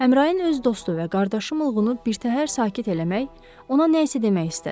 Əmrain öz dostu və qardaşı mulğunu birtəhər sakit eləmək, ona nə isə demək istədi.